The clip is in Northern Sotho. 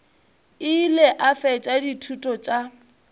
ile a fetša dithuto tša